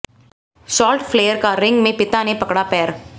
Charlotte Flair का ring में पिता ने पकड़ा पैर